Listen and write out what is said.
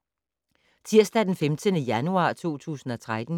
Tirsdag d. 15. januar 2013